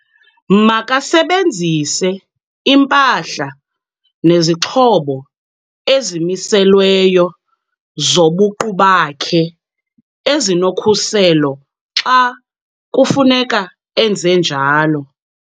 Makasebenzise impahla nezixhobo ezimiselweyo zobuqu bakhe ezinokhuselo xa kufuneka enze njalo.